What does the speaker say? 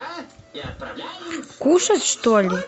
кушать что ли